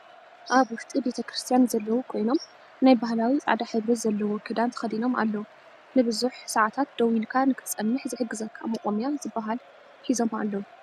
ኣበ ውሽጢ ቤተ ክርስትያን ዘለው ኮይኖም ናይ ባህላዊ ፃዕዳ ሕብሪ ዘለዎ ክዳን ተከዲኖም ኣለው። ንብዙሕ ስዓታት ደው ኢልካ ንክትፀንሕ ዝሕግዘካ መቆምያ ዝብሃለ ሒዞምኣለው።